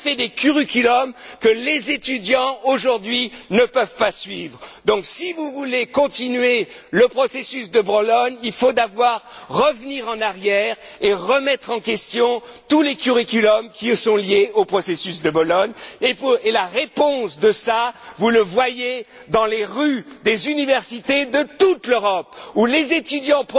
On a fait des curriculums que les étudiants aujourd'hui ne peuvent pas suivre. Donc, si vous voulez poursuivre le processus de Bologne, il faut d'abord revenir en arrière et remettre en question tous les curriculums qui eux sont liés au processus de Bologne et la réponse à cela, vous la voyez dans les rues des villes universitaires de toute l'Europe, où les étudiants